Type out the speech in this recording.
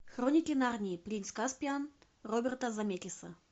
хроники нарнии принц каспиан роберта земекиса